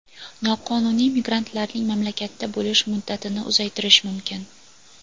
noqonuniy migrantlarning mamlakatda bo‘lish muddatini uzaytirishi mumkin.